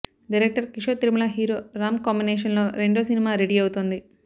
director Kishore Tirumala hero Ram combination లో రెండో cinema ready అవుతోంది